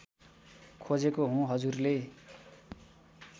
खोजेको हुँ हजुरले